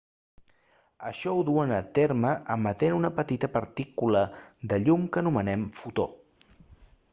això ho duen a terme emetent una petita partícula de llum que anomenem fotó